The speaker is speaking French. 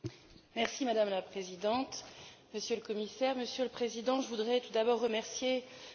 Madame la Présidente, Monsieur le Commissaire, Monsieur le Président, je voudrais tout d'abord remercier M.